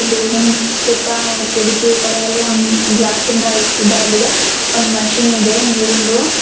Building ಸುತ್ತ ಕಿಟಕಿ ಕಡೆಯೆಲ್ಲ ಮ್ಮ್ - ಗ್ಲಾಸ್ ಇಂದ ಇದಾಗಿದೆ ಒಂದ್ ಮಷೀನ್ ಇದೆ ನೀರಿಂದು.